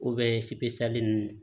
ninnu